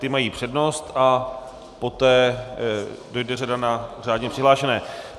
Ti mají přednost a poté dojde řada na řádně přihlášené.